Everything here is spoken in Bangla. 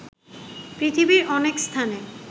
পৃথিবীর অনেক স্থানে